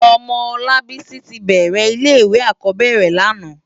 Òmò Olabisi ti bèrè ilé iwé ákòbèrè làná